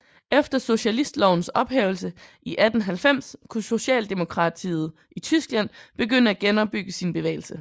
Efter socialistlovens ophævelse i 1890 kunne socialdemokratiet i Tyskland begynde at genopbygge sin bevægelse